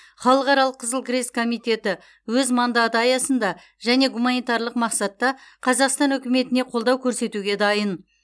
халықаралық қызыл крест комитеті өз мандаты аясында және гуманитарлық мақсатта қазақстан үкіметіне қолдау көрсетуге дайын